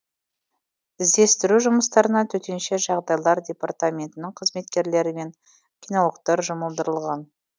іздестіру жұмыстарына төтенше жағдайлар департаментінің қызметкерлері мен кинологтар жұмылдырылған